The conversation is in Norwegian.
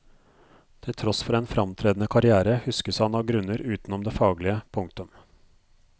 Til tross for en fremtredende karrière huskes han av grunner utenom det faglige. punktum